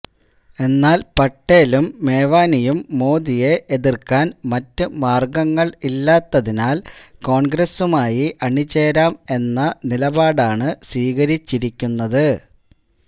എന്നാല് പട്ടേലും മേവാനിയും മോദിയെ എതിര്ക്കാന് മറ്റ് മാര്ഗ്ഗങ്ങള് ഇല്ലാത്തതിനാല് കോണ്ഗ്രസുമായി അണിചേരാം എന്ന നിലപാടാണ് സ്വീകരിച്ചിരിക്കുന്നത്